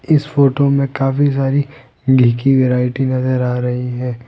इस फोटो में काफी सारी घी की वैरायटी नजर आ रही है।